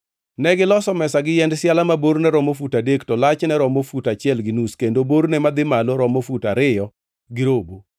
Negiloso mesa gi yiend siala ma borne romo fut adek to lachne romo fut achiel gi nus kendo borne madhi malo romo fut ariyo gi robo.